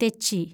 തെച്ചി